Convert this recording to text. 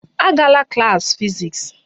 Agala klas fiziks!